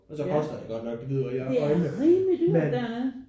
Og så koster det godt nok det hvide ud af øjnene men